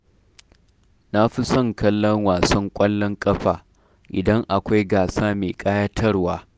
Na fi son kallon wasan ƙwallon ƙafa, idan akwai gasa mai ƙayatarwa.